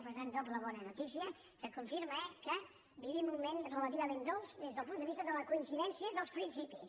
per tant doble bona notícia que confirma que vivim un moment relativament dolç des del punt de vista de la coincidència dels principis